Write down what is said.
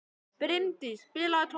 Brimdís, spilaðu tónlist.